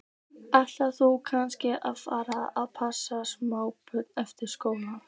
Ætlar þú kannski að fara að passa smábörn eftir skóla?